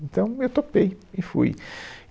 Então, eu topei e fui.